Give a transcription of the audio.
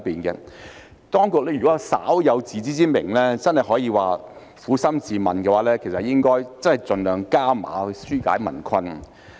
如果當局稍有自知之明或撫心自問，便應該盡量"加碼"紓解民困。